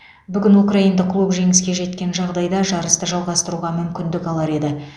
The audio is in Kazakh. бүгін украиндық клуб жеңіске жеткен жағдайда жарысты жалғастыруға мүмкіндік алар еді